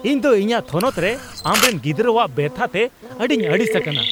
ᱤᱧ ᱫᱚ ᱤᱧᱟᱜ ᱛᱷᱚᱱᱚᱛ ᱨᱮ ᱟᱢᱨᱮᱱ ᱜᱤᱫᱽᱨᱟᱹᱣᱟᱜ ᱵᱮᱵᱷᱟᱨᱛᱮ ᱟᱹᱰᱤᱧ ᱟᱹᱲᱤᱥ ᱟᱠᱟᱱᱟ !